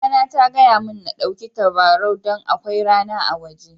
Mama na ta gaya mun n'ɗauki tabarau dan akwai rana a woje.